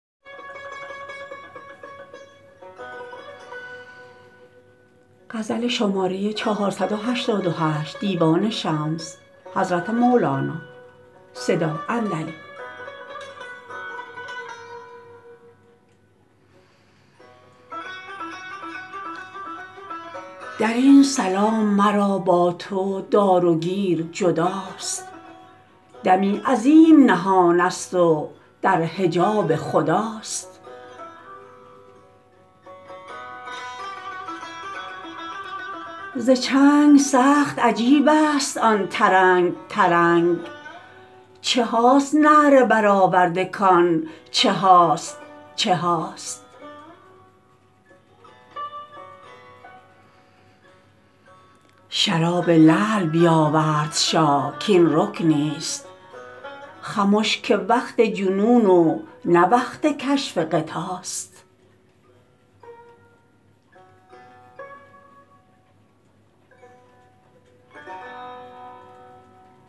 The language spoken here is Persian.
در این سلام مرا با تو دار و گیر جداست دمی عظیم نهان ست و در حجاب خداست ز چنگ سخت عجیب ست آن ترنگ ترنگ چه هاست نعره برآورده کان چه هاست چه هاست شراب لعل بیاورد شاه کاین رکنی ست خمش که وقت جنون و نه وقت کشف غطاست